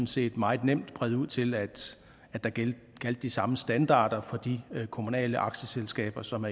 set meget nemt brede ud til at der gjaldt de samme standarder for de kommunale aktieselskaber som